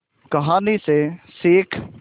कहानी से सीख